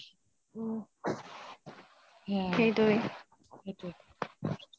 উম সেইটোৱে